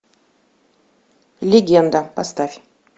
легенда поставь